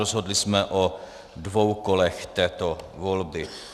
Rozhodli jsme o dvou kolech této volby.